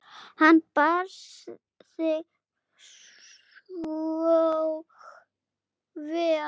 Hann bar sig þó vel.